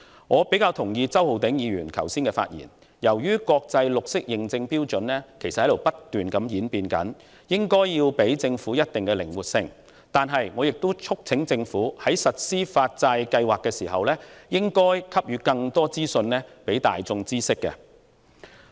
我個人較為同意周浩鼎議員剛才的發言，他提到由於國際綠色認證標準正在不斷演變，因此我們應給予政府一定程度的靈活性，但另一方面，我亦促請政府在實行發債計劃時，應該為公眾提供更多相關資訊。